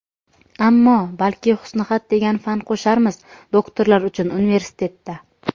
Ammo balki husnixat degan fan qo‘sharmiz doktorlar uchun universitetda.